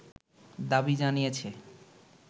দাবি জানিয়েছে